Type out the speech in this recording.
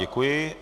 Děkuji.